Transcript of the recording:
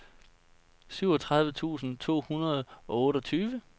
syvogtredive tusind to hundrede og otteogtyve